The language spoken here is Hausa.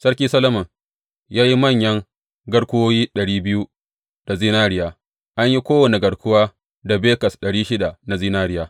Sarki Solomon ya yi manyan garkuwoyi ɗari biyu da zinariya; an yi kowane garkuwa da bekas ɗari shida na zinariya.